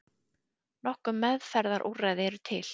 Nokkur meðferðarúrræði eru til.